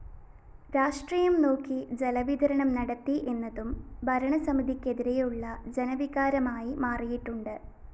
രാഷ്ട്രീയം നോക്കി ജലവിതരണം നടത്തി എന്നതും ഭരണസമിതിക്കെതിരെയുള്ള ജനവികാരമായി മാറിയിട്ടുണ്ട്